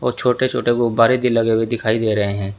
छोटे छोटे गुब्बारे भी लगे हुए दिखाई दे रहे हैं।